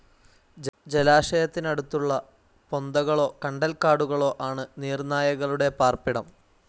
ജലാശയത്തിനടുത്തുള്ള പൊന്തകളോ കണ്ടൽക്കാടുകളോ ആണ്‌ നീർനായകളുടെ പാർപ്പിടം.